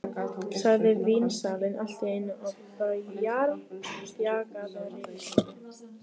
sagði vínsalinn allt í einu á bjagaðri íslensku.